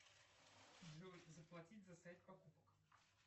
джой заплатить за сайт покупок